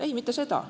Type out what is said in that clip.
Ei, mitte seda.